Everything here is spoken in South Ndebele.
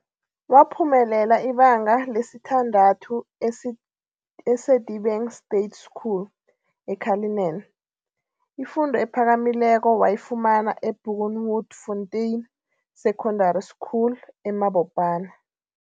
Waphumelela ibanga lesithandathu e-Sedibeng State School, e-Cullinan. Ifundo ephakamileko wayifumana eBoekenhoutfontein Secondary School, eMabopane.